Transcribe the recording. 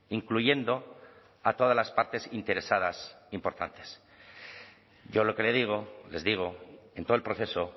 incluyendo a todas las partes interesadas importantes yo lo que le digo les digo en todo el proceso